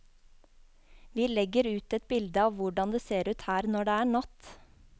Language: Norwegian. Vi legger ut et bilde av hvordan det ser ut her når det er natt.